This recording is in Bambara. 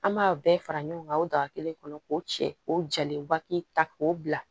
An b'a bɛɛ fara ɲɔgɔn kan o daga kelen kɔnɔ k'o cɛ k'o jalen baki ta k'o bila